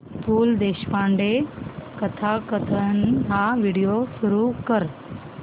पु ल देशपांडे कथाकथन हा व्हिडिओ सुरू कर